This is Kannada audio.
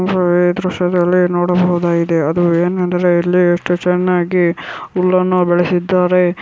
ಅಹ್ ಈ ದೃಶ್ಯದಲ್ಲಿ ನೋಡಬಹುದಾಗಿದೆ ಅದು ಏನೆಂದರೆ ಇಲ್ಲಿ ಎಷ್ಟು ಚೆನ್ನಾಗಿ ಹುಲ್ಲನ್ನು ಬೆಳೆಸಿದ್ದಾರೆ.